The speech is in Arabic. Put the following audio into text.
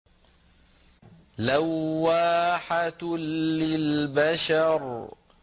لَوَّاحَةٌ لِّلْبَشَرِ